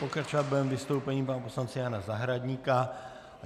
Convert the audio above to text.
Pokračovat budeme vystoupením pana poslance Jana Zahradníka.